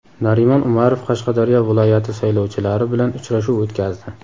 Narimon Umarov Qashqadaryo viloyati saylovchilari bilan uchrashuv o‘tkazdi.